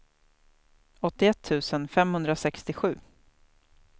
åttioett tusen femhundrasextiosju